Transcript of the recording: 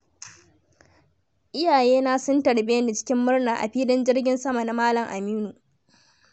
Iyayena sun tarbe ni cikin murna a filin jirgin sama na Malam Aminu.